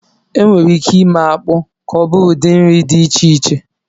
E nwèrè ìké ímé ákpụ ka ọ bụrụ ụdị nri dị iche iche